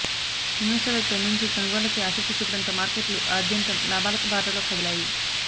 ఇన్వెస్టర్లు తొలి నుంచీ కొనుగోళ్లకే ఆసక్తిచూపడంతో మార్కెట్లు ఆద్యంతం లాభాల బాటలో కదిలాయి